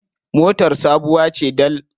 Motar sabuwa ce dal.